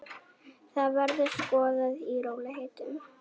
Það verður skoðað í rólegheitum.